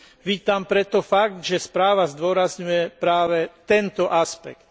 Vítam preto fakt, že správa zdôrazňuje práve tento aspekt.